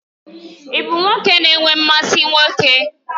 Ị bụ nwoke na-enwe mmasị nwoke?